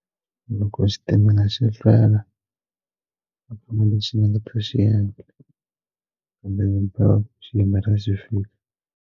Loko xitimela xi hlwela a kuna lexi ni nga ta xiendla handle ki xi yimela xi fika.